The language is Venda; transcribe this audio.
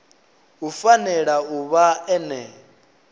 u fanela u vha ene